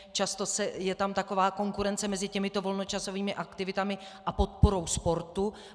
Často je tam taková konkurence mezi těmito volnočasovými aktivitami a podporou sportu.